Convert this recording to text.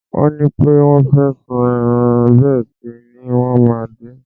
Wọ́n ní pé wọ́n fẹ́ sun ẹran bẹ́ẹ̀ sì ni wọ́n máa din.